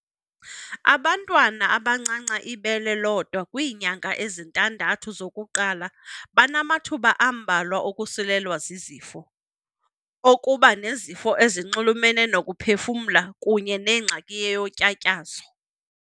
Abantwana abancanca ibele lodwa kwiinyanga ezintandathu zokuqala banamathuba ambalwa okusulelwa zizifo, okuba nezifo ezinxulumene nokuphefumla kunye nengxaki yotyatyazo.